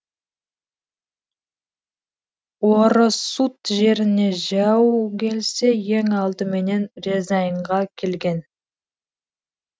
орұсут жеріне жау келсе ең алдыменен рязаньға келген